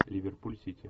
ливерпуль сити